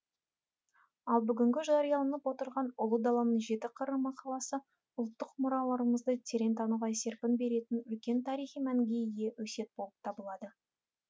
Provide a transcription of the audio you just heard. ал бүгінгі жарияланып отырған ұлы даланың жеті қыры мақаласы ұлттық мұраларымызды терең тануға серпін беретін үлкен тарихи мәнге ие өсиет болып табылады